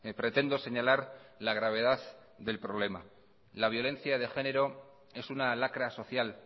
pretendo señalar la gravedad del problema la violencia de género es una lacra social